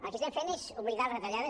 el que estem fent és oblidar les retallades